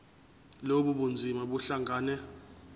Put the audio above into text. lobu bunzima buhlangane